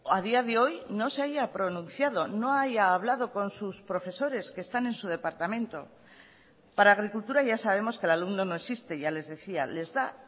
a día de hoy no se haya pronunciado no haya hablado con sus profesores que están en su departamento para agricultura ya sabemos que el alumno no existe ya les decía les da